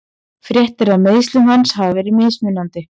Fréttirnar af meiðslum hans hafa verið mismunandi.